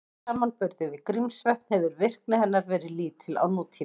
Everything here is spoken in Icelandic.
Í samanburði við Grímsvötn hefur virkni hennar verið lítil á nútíma.